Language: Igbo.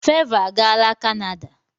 Fevo agaala kanada.